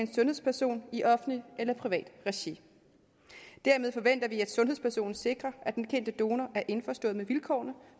en sundhedsperson i offentligt eller privat regi dermed forventer vi at sundhedspersonen sikrer at den kendte donor er indforstået med vilkårene